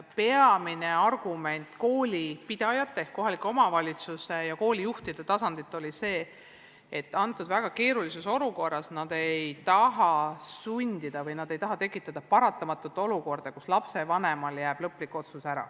Peamine argument koolipidajate ehk kohaliku omavalitsuse ja koolijuhtide tasandil oli see, et praeguses väga keerulises olukorras ei taha nad kedagi sundida ega tekitada paratamatut olukorda, kus lapsevanem ei saa teha lõplikku otsust.